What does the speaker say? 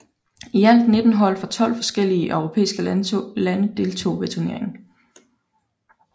I alt 19 hold fra 12 forskellige europæiske lande deltog ved turneringen